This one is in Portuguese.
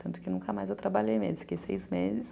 Tanto que nunca mais eu trabalhei mesmo,